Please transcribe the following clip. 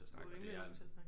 Du rimelig god til at snakke